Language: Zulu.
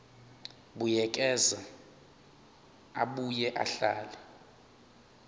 buyekeza abuye ahlele